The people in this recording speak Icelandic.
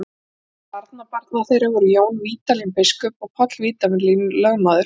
Meðal barnabarna þeirra voru Jón Vídalín biskup og Páll Vídalín lögmaður.